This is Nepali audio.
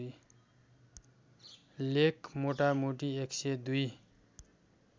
लेख मोटामोटी १०२